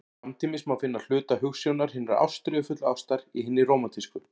Samtímis má finna hluta hugsjónar hinnar ástríðufullu ástar í hinni rómantísku.